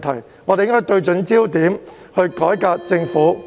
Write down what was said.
因此，大家應該對準焦點，才能改革政府施政。